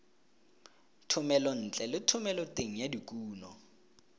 thomelontle le thomeloteng ya dikuno